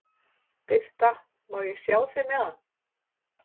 Birta: Má ég sjá þig með hann?